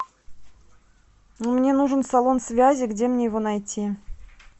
мне нужен салон связи где мне его найти